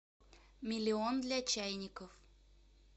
миллион для чайников